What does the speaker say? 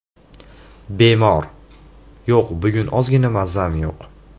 Bemor: Yo‘q, bugun ozgina mazam yo‘q.